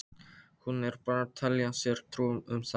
Hún er bara að telja sér trú um þetta.